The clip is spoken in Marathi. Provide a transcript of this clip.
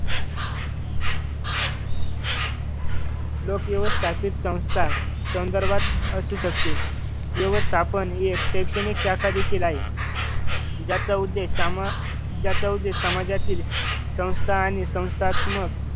लोकं व्यवस्थापित संस्था संदर्भात असू शकते. व्यवस्थापन हे शैक्षणिक शाखादेखील आहे. ज्याचा उद्देश समा ज्याचा उद्देश समाजातील संस्था आणि संस्थात्मक